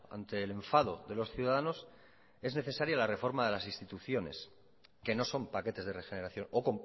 ante el enfado de los ciudadanos es necesaria la reforma de las instituciones que no son paquetes de regeneración o